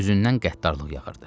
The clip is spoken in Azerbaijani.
Üzündən qəddarlıq yağırdı.